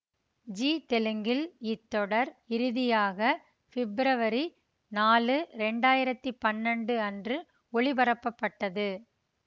ஜீ தெலுங்கில் இத்தொடர் இறுதியாக பிப்ரவரி நாலு இரண்டு ஆயிரத்தி பன்னெண்டு அன்று ஒளிபரப்பப்பட்டது